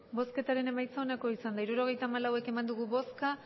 hirurogeita hamalau eman dugu bozka